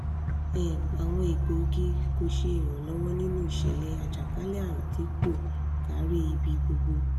um awọn egboogi ko ṣe iranlọwọ ninu iṣẹlẹ ajakalẹ-arun ti po kari ibi gbogbo